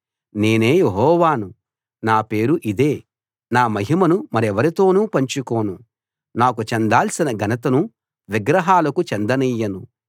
నేనే యెహోవాను నా పేరు ఇదే నా మహిమను మరెవరితోనూ పంచుకోను నాకు చెందాల్సిన ఘనతను విగ్రహాలకు చెందనియ్యను